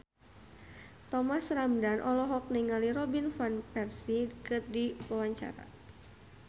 Thomas Ramdhan olohok ningali Robin Van Persie keur diwawancara